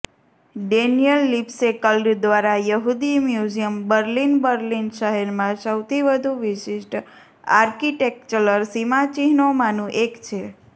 Daniel Libeskind દ્વારા યહૂદી museum Berlin Berlin શહેરમાં સૌથી વધુ વિશિષ્ટ આર્કિટેક્ચરલ સીમાચિહ્નોમાંનું એક છે